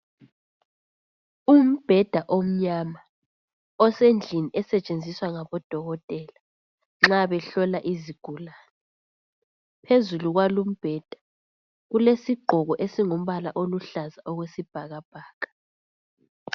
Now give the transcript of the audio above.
Umbheda omnyama osendlini esetshenziswa ngabodokotela nxa behlola izigulane ,phezulu kwalo umbheda kulesigqoko esingumbala oluhlaza okwesibhakabhaka